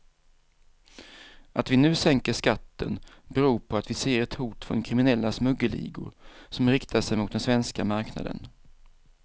Att vi nu sänker skatten beror på att vi ser ett hot från kriminella smuggelligor som riktar sig mot den svenska marknaden.